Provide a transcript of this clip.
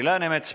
Aitäh!